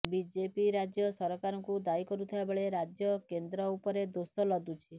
BJP ରାଜ୍ୟ ସରକାରଙ୍କୁ ଦାୟୀ କରୁଥିବା ବେଳେ ରାଜ୍ୟ କେନ୍ଦ୍ର ଉପରେ ଦୋଷ ଲଦୁଛି